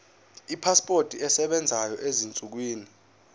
ipasipoti esebenzayo ezinsukwini